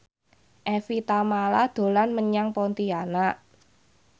Evie Tamala dolan menyang Pontianak